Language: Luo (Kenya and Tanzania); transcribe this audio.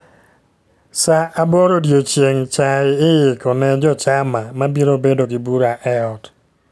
Sa aboro odiechieng' chai iiko ne jochama mabiro bedo gi bura e ot